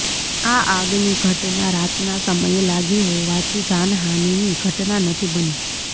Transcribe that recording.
આ આગની ઘટના રાતના સમયે લાગી હોવાથી જાનહાનીની ઘટના નથી બની